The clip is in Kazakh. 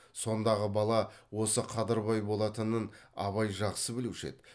сондағы бала осы қадырбай болатынын абай жақсы білуші еді